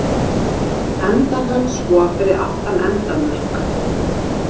Endar hann svo fyrir aftan endamörk.